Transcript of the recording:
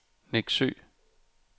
Neksø